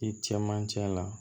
I cɛmancɛ la